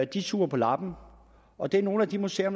de suger på labben og det er nogle af de museer